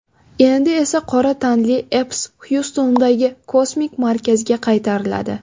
Endi esa qora tanli Epps Xyustondagi kosmik markazga qaytariladi.